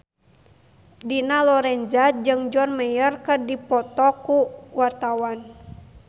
Dina Lorenza jeung John Mayer keur dipoto ku wartawan